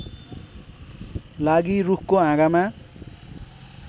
लागि रूखको हाँगामा